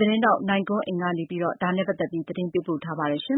သတင်းထောက်နိုင်ကွန်းအိန်ကနေ သတင်းပေးပို့ထားပါတယ်။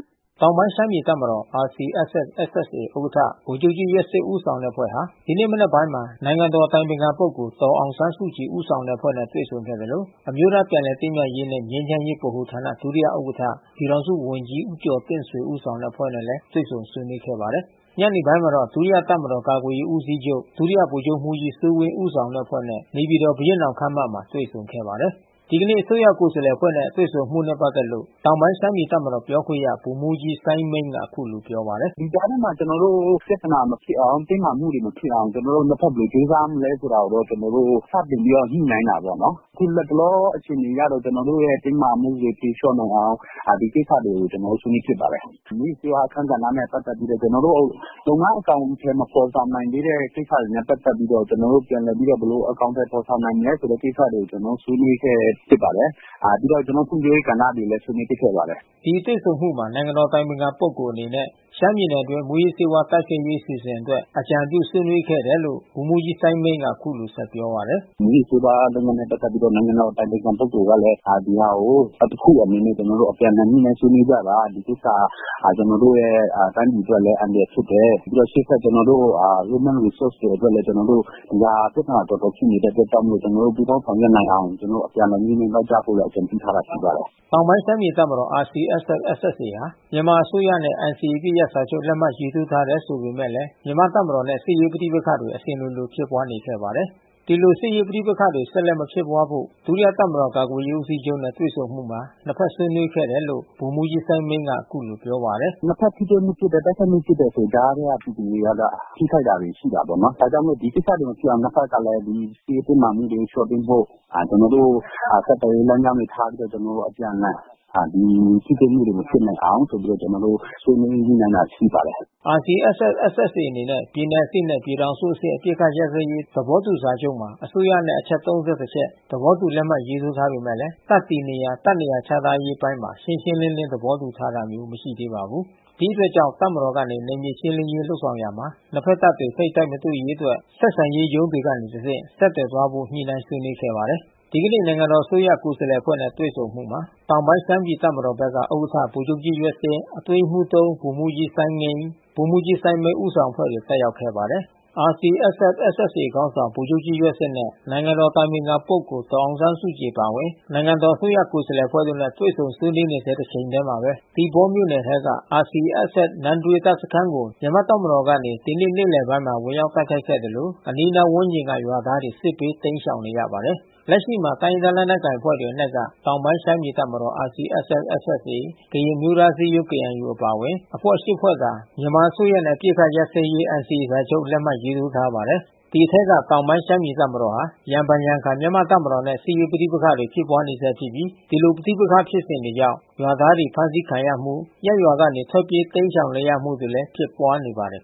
တောင်ပိုင်းရှမ်းပြည်တပ်မတော်RCSS/SSAဥက္ကဌဗိုလ်ချုပ်ကြီးရွက်ဆစ်ဦးဆောင်အဖွဲ့ဟာ ဒီနေ့မနက်ပိုင်းမှာ နိုင်ငံတော်အတိုင် ပင်ခံပုဂ္ဂိုလ်ဒေါ်အောင်းဆန်းစုကြည်ဦးဆောင်တဲ့အဖွဲ့နဲ့တွေ့ဆုံခဲ့သလို အမျိုးသားပြန်လည်သင့်မြတ်ရေးနှင့် ငြိမ်းချမ်းရေးဗဟို ဌာနဒုတိယဥက္ကဋ္ဌ ပြည်ထောင်စုဝန်ကြီး ဦးကျော်တင့်ဆွေဦးဆောင်အဖွဲ့နဲ့ တွေ့ဆုံဆွေး နွေး ခဲ့ပါတယ်။ ညနေပိုင်းမှာတော့ ဒုတိယတပ်မတော်ကာကွယ်ရေးဦးစီးချုပ် ဒုတိယဗိုလ်ချူပ်မှုးကြီးစိုးဝင်းဦးဆောင်အဖွဲ့နဲ့ နေပြည်တော်ဘုရင့် နောင် ခန်းမမှာတွေဆုံခဲ့ပါတယ်။ ဒီကနေ့မြန်မာအစိုးရကိုယ်စားလှယ်အဖွဲ့တွေနဲ့တွေ့ဆုံမှုနဲ့ပက်သက်လို့ တောင်ပိုင်းရှမ်းပြည်တပ်မတော်ပြောခွင့်ရ ဗိုလ်မှူးကြီး စိုင်းမိန်းကအခုလိုပြောပါတယ်။ “ဒီကြားထဲမှာကျနော်တို့ ပြဿနာမဖြစ်အောင် ၊ တင်းမာမှုတွေမဖြစ်အောင် ကျနော်တို့ ၂ ဖက်ဘယ်လိုကြိုးစားမလဲ ဆိုတာကို ကျနော်တို့ စတင်ပြီးတော့ ညှိနှိုင်းတာပေါ့။ အခုလက်တလောအခြေအနေအရတော့ ကျနော်တို့ရဲ့ တင်းမာမှုတွေဖြေလျော့နိုင်အောင် ဒီကိစ္စတွေကို ကျနော်တို့ ဆွေးနွေးဖြစ်ပါတယ်။ မူးယစ်ဆေးဝါးအခန်းကဏ္ဍနဲ့ ပတ်သက်ပြီးတော့ ကျနော်တို့ လုပ်ငန်းအကောင်အထည်မဖော်ဆောင်နိုင်သေးတဲ့ ကိစ္စတွေနဲ့ ပတ်သက်ပြီးတော့ ကျနော်တို့ ဘယ်လိုအကောင်အထည်ဖော် ဆောင်နိုင်မလဲဆိုတဲ့ကိစ္စတွေကို ဆွေးနွေးခဲ့ပါတယ်။ ပြီးတော့ ကျနော်တို့ ဖွံ့ဖြိုးရေးကဏ္ဍတွေကိုလည်း ဆွေးနွေးဖြစ်ခဲ့ပါတယ်။” ဒီတွေ့ဆုံမှုမှာ နိုင်ငံတော်အတိုင်ပင်ခံပုဂ္ဂိုလ်အနေနဲ့ ရှမ်းပြည်နယ်အတွင်းမူးယစ်ဆေးဝါးတိုက်ဖျက်ရေးအစီအစဉ်အတွက် အကြံ ပြုဆွေးနွေးခဲ့တယ်လို့ ဗိုလ်မှူးကြီး စိုင်းမိန်းကအခုလိုပြောပါတယ်။ “မူးယစ်ဆေးဝါးနဲ့ ပတ်သက်ပြီးတော့ နိုင်ငံတော်အတိုင်ပင်ခံပုဂ္ဂိုလ်ကလည်း ဒီဟာကို တခုအနေနဲ့ ကျနော်တို့ အပြန်အလှန်ငြိနှိုင်းဆွေးနွေးကြပါ။ ဒီကိစ္စဟာ ကျနော်တို့တိုင်းပြည်အတွက်လည်း အန္တရာယ် ဖြစ်တယ် ပြီးတော့ ရှေ့ဆက်ကျနော်တို့ Human Resource အတွက်လည်း ပြဿနာ တော်တော်ရှိနေတဲ့အတွက်ကြောင့်မို့လို့ ကျနော်တို့ ပူးပေါင်းဆောင်ရွက်နိုင်အောင် ကျနော်တို့ အပြန်အလှန် ညှိနှိုင်းသွားကြဖို့လည်း အကြံပြုထားတာရှိပါတယ်။” တောင်ပိုင်းရှမ်းပြည်တပ်မတော်RCSS/SSAဟာ မြန်မာအစိုးရနဲ့ NCAအပစ်ရပ်စာချုပ် လက်မှတ်ရေးထိုးထားပေမဲ့လဲ မြန်မာ့ တပ်မတော်နဲ့ စစ်ရေးပဋိပက္ခတွေအစဉ်လိုလိုဖြစ်ပွါးနေခဲ့ပါတယ်။ ဒီလိုစစ်ရေးပဋိပက္ခတွေဆက်လက်မဖြစ်ပွါးဖို့ ဒုတိယတပ်မတော်ကာကွယ်ရေးဦးစီးချုပ်နဲ့တွေ့ဆုံမှုမှာ နှစ်ဖက်ဆွေးနွေးခဲ့တယ် လို့ ဗိုလ်မှူးကြီး စိုင်းမိန်းကအခုလိုပြောပါတယ်။ “နှစ်ဖက် ထိတွေ့မှုဖြစ်တယ်၊ တိုက်ခိုက်မှုဖြစ်တယ်ဆိုရင် ကြားထဲကပြည်သူတွေကတော့ ထိခိုက်တာတွေရှိတာပေါ့နော်။ ဒါကြောင့်မို့လို့ ဒီကိစ္စတွေမဖြစ်အောင် ၂ ဖက်ကလည်း ဒီစစ်ရေးတင်းမာမှုတွေလျော့ပေးဖို့ ကျနော်တို့ဆက်သွယ်ရေးလမ်းကြောင်းတွေထားပြီးတော့ အပြန်အလှန် ထိတွေ့မှုတွေမဖြစ်အောင်ဆိုပြီးတော့ ဆွေးနွေး ညှိနှိုင်းတာရှိပါတယ်။” RCSS/SSA အနေနဲ့ ပြည်နယ်အဆင့် နှင့် ပြည်ထောင်စုအဆင့် အပစ်အခတ်ရပ်စဲရေး သဘောတူစာချူပ်မှာ အစိုးရနဲ့အချက် ၃၁ ချက် သဘောတူလက်မှတ်ရေးထိုးထားပေမဲ့ တပ်တည်နေရာ တပ်နေရာချထားရေးအပိုင်းမှာ ရှင်းရှင်းလင်း သဘောတူထား တာ မျိုးမရှိ သေးပါဘူး။ ဒီအတွက်ကြောင့် တပ်မတော်ကနေ နယ်မြေရှင်းလင်းရေးလုပ်ဆောင်ရာမှာ နှစ်ဖက်တပ်တွေထိပ်တိုက်မတွေ့ရေးအတွက် ဆက်ဆံရေးရုံးတွေကနေတဆင့် ဆက်သွယ်သွားဖို့ ညှိနှိုင်းဆွေးနွေးခဲ့ပါတယ်။ ဒီကနေ့နိုင်ငံတော်အစိုးရကိုယ်စားလှယ်အဖွဲ့နှဲ့တွေ့ဆုံမှုမှာ တောင်ပိုင်းရှမ်းပြည်တပ်မတော်ဘက်က ဥက္ကဋ္ဌ ဗိုလ်ချုပ်ကြီး ယွက်စစ်၊ အတွင်းရေးမှူး ဗိုလ်မှူးကြီးစိုင်းငင်း၊ ဗိုလ်မှူးကြီးစိုင်းမိဏ်းဦးဆောင်အဖွဲ့တွေတက်ရောက်ခဲ့ပါတယ်။ RCSS/SSAခေါင်းဆောင်ဗိုလ်ချုပ်ကြီးယွက်စစ်နှင့် နိုင်ငံတော်အတိုင်အပင်ခံ ဒေါ်အောင်ဆန်းစုကြည်အပါအဝင် နိုင်ငံတော် အစိုးရကိုယ်စားလှယ်အဖွဲ့တို့နဲ့တွေ့ဆုံဆွေးနွေးနေဆဲတချိန်ထဲမှာဘဲ သီပေါမြို့နယ်ထဲက RCSSနမ့်တွေးတပ်စခမ်းကို မြန်မာ့ တပ်မတော် ကနေဝင်ရောက်တိုက်ခိုက်ခဲ့သလို အနီးနားဝန်းကျင်ကရွာသားတွစစ်ဘေးတိမ်းရှောင်နေရပါတယ်။ လက်ရှိမှာ တိုင်းရင်းသားလက်နက်ကိုင်အဖွဲ့တွေအနက်က တောင်ပိုင်းရှမ်းပြည်တပ်မတော် ကရင်အမျိုးသား အစည်းအရုံးKNUအပါအဝင်အဖွဲ့ ဖွဲ့သာ မြန်မာအစိုးရနဲ့ အပစ်ခတ်ရပ်စဲရေးစာချုပ်NCAလက်မှတ်ရေးထိုးထားပါတယ်။ ဒီအထဲက တောင်ပိုင်းရှမ်းပြည်တပ်မတော်ဟာရံဖန်ရံခါ မြန်မာ့တပ်မတော်နဲ့ စစ်ရေးပဋိပက္ခဖြစ်ပွါးနေဆဲဖြစ်ပြီး ဒီလိုပဋိပက္ခ ဖြစ်စဉ်ကြောင့် ရွာသားတွေဖမ်းဆီးခံရမှု ရပ်ရွာကနေထွက်ပြေးတိမ်းရှောင် နေရမှုတွေလဲဖြစ်ပွါးနေပါတယ်